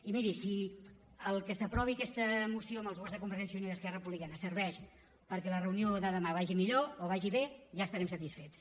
i miri si el fet que s’aprovi aquesta moció amb els vots de convergència i unió i esquerra republicana serveix perquè la reunió de demà vagi millor o vagi bé ja estarem satisfets